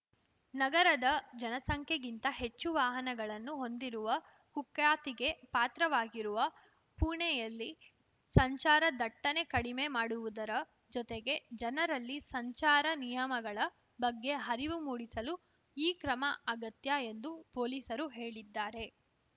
ನಗರದ ಜನಸಂಖ್ಯೆಗಿಂತ ಹೆಚ್ಚು ವಾಹನಗಳನ್ನು ಹೊಂದಿರುವ ಕುಖ್ಯಾತಿಗೆ ಪಾತ್ರವಾಗಿರುವ ಪುಣೆಯಲ್ಲಿ ಸಂಚಾರ ದಟ್ಟಣೆ ಕಡಿಮೆ ಮಾಡುವುದರ ಜೊತೆಗೆ ಜನರಲ್ಲಿ ಸಂಚಾರ ನಿಯಮಗಳ ಬಗ್ಗೆ ಹರಿವು ಮೂಡಿಸಲು ಈ ಕ್ರಮ ಅಗತ್ಯ ಎಂದು ಪೊಲೀಸರು ಹೇಳಿದ್ದಾರೆ